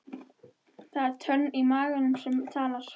Það er tönnin í maganum sem talar.